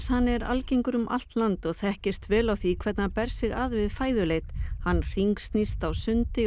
er algengur um allt land og þekkist vel á því hvernig hann ber sig að við fæðuleit hann hringsnýst á sundi og